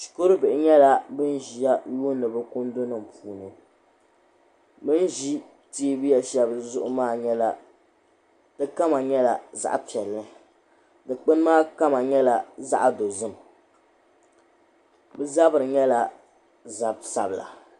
Shikuru bihi nyɛla ba ziya n lihiri bɛ kundinim puuni bɛni zi tɛɛbuya shɛli maa zuɣu maa di kama nyɛla zaɣ' piɛli du kpuni maa kala nyɛla zaɣi dozim bɛ zabiri nyɛla zabi sabila